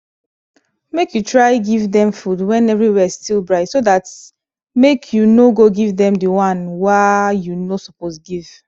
make u try give them food when everywhere still bright so that make u no go give them the one wa u no suppose give